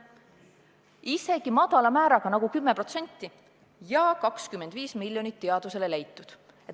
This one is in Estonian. Isegi kui kehtestada selline madal määr nagu 10%, siis oleks 25 miljonit teadusele leitud.